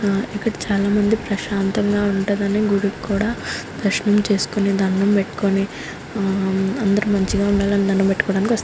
ఆ ఇక్కడ చాలామంది ప్రశాంతంగా ఉంటాడని గుడికి కూడా దర్శనం చేసుకుని దండం పెట్టుకుని అందరూ మంచిగా ఉండాలని దండం పెట్టుకోటానికి వస్తా --